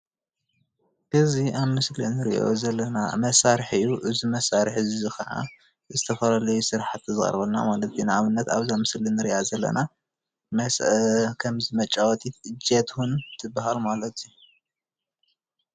እዚ ኣብዚ ምስሊ እንሪኦ ዘለና መሳርሒ እዚ መሳርሒ ክዓ ንዝተፈላለዩ ስራሕቲ ዝቀርበልና ማለት እዩ፣ ንኣብነት ኣብዛ ምስሊ እንሪኣ ዘለና መስአ ከም መጫበቲ እጀት እውን ትባሃል፡፡